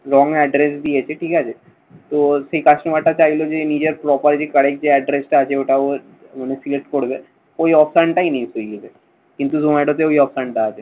wrong address দিয়েছে। ঠিক আছে। তো সেই customer চাইলো যে নিজের properly correct যে address টা আছে ওটা ও মানে select করবে। ওই offline টাই যাবে। কিন্তু তোমার ওটাতে ওই option টা আছে।